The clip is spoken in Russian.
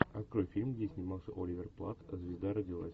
открой фильм где снимался оливер плат звезда родилась